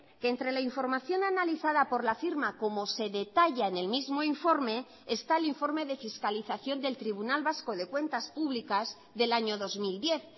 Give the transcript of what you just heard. que entre la información analizada por la firma como se detalla en el mismo informe está el informe de fiscalización del tribunal vasco de cuentas públicas del año dos mil diez